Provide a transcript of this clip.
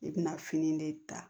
I bɛna fini de ta